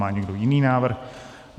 Má někdo jiný návrh?